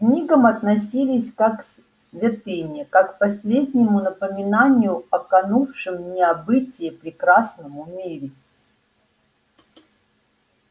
к книгам относились как к святыне как к последнему напоминанию о канувшем в небытие прекрасном мире